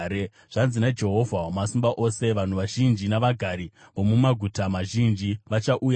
Zvanzi naJehovha Wamasimba Ose: “Vanhu vazhinji navagari vomumaguta mazhinji vachauyazve,